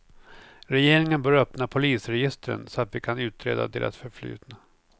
Regeringen bör öppna polisregistren så att vi kan utreda deras förflutna.